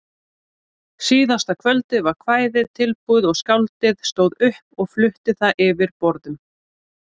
Síðasta kvöldið var kvæðið tilbúið og skáldið stóð upp og flutti það yfir borðum.